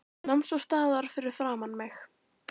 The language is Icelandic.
Nam svo staðar fyrir framan mig.